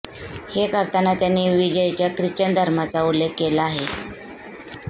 हे करताना त्यांनी विजयच्या ख्रिश्चन धर्माचा उल्लेख केला आहे